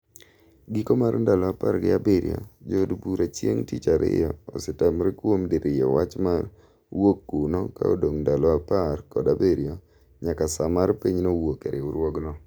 Giko mar ndalo apar gi abirio jo od bura chieng' tich ariyo osetamre kuom diriyo wach mar wuok kuno ka odong' ndalo apar kod abirio nyaka saa mar pinyno wuok e riwruogno